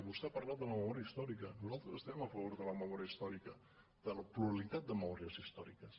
vostè ha parlat de la memòria històrica nosaltres estem a favor de la memòria històrica de la pluralitat de memòries històriques